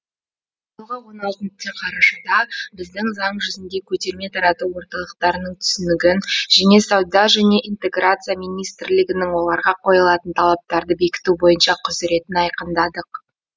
биылғы он алтыншы қарашада біз заң жүзінде көтерме тарату орталықтарының түсінігін және сауда және интеграция министрлігінің оларға қойылатын талаптарды бекіту бойынша құзыретін айқындадық